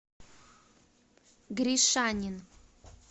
гришанин